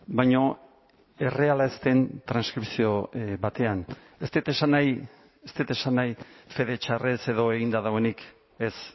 baina erreala ez den transkripzio batean ez dut esan nahi ez dut esan nahi fede txarrez edo eginda dagoenik ez